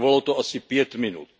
Trvalo to asi pět minut.